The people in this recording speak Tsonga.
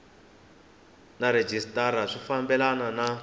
na rhejisitara swi fambelani ni